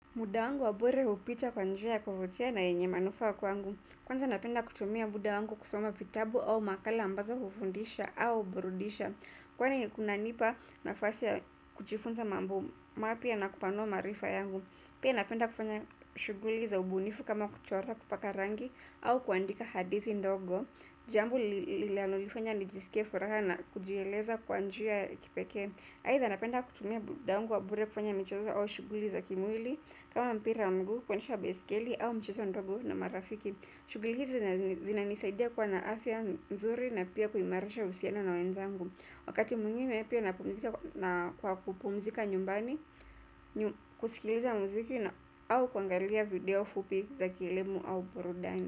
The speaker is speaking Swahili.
Muda wangu wa bure hupita kwa njia ya kuvutia na yenye manufaa kwangu. Kwanza napenda kutumia muda wangu kusoma vitabu au makala ambazo hufundisha au burudisha. Kwani kunanipa nafasi ya kujifunza mambo mapya na kupanua maarifa yangu. Pia napenda kufanya shughuli za ubunifu kama kuchora kupaka rangi au kuandika hadithi ndogo. Jambo linalonilifanya nijiske furaha na kujieleza kwa njia ya kipekee. Aidha napenda kutumia muda wangu wa bure kufanya michezo au shughuli za kimwili kama mpira wa mguu kuendesha baiskeli au michezo ndogo na marafiki. Shughuli hizi zinanisaidia kuwa na afya nzuri na pia kuimarisha uhusiano na wenzangu. Wakati mwingine pia napumzika kwa kupumzika nyumbani kusikiliza muziki na au kuangalia video fupi za kielimu au burudani.